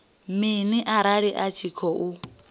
mini arali a tshi khou